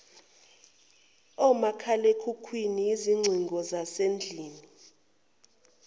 omakhalekhukhwini izingcingo zasendlini